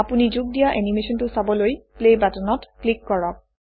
আপুনি যোগ দিয়া এনিমেচনটো চাবলৈ প্লে বাটনত ক্লিক কৰক